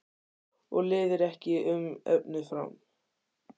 Og lifir ekki um efni fram?